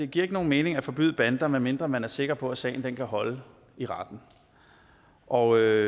giver nogen mening at forbyde bander medmindre man er sikker på at sagen kan holde i retten og